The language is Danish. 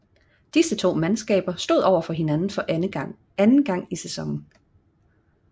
Disse to mandskaber stod overfor hinanden for anden gang i sæsonen